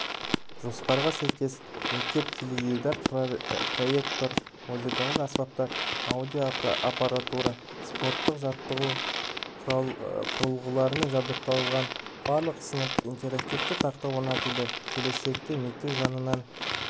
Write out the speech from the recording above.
жоспарға сәйкес мектеп теледидар проектор музыкалық аспаптар аудиоаппаратура спорттық жаттығу құрылғыларымен жабдықталған барлық сыныпқа интерактивті тақта орнатылады келешекте мектеп жанынан